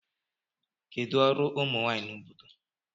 Kedụ ọrụ ụmụ nwanyị na obodo?